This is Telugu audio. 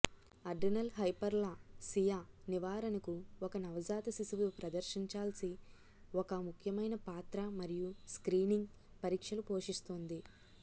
అడ్రినల్ హైపర్ప్లాసియా నివారణకు ఒక నవజాత శిశువు ప్రదర్శించాల్సి ఒక ముఖ్యమైన పాత్ర మరియు స్క్రీనింగ్ పరీక్షలు పోషిస్తుంది